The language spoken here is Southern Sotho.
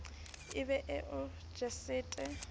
e be e o jesetse